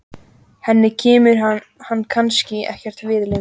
Henni kemur hann kannski ekkert við lengur.